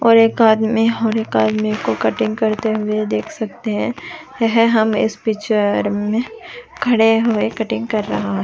और एक आदमी और एक आदमी को कटिंग करते हुए देख सकते है रहे है इस पिक्चर मे खड़े हुए कटिंग कर रहे है।